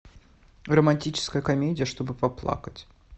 романтическая комедия чтобы поплакать